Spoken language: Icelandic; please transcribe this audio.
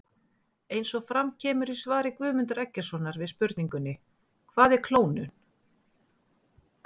Eins og fram kemur í svari Guðmundar Eggertssonar við spurningunni Hvað er klónun?